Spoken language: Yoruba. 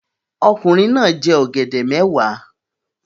Ọkùnrin náà jẹ ọ̀gẹ̀dẹ̀ mẹ́wàá